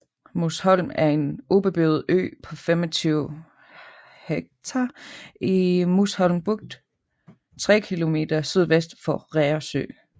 Musholm er en ubeboet ø på 25 ha i Musholm Bugt 3 km sydvest for Reersø